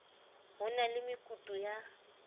ho na le mekutu ya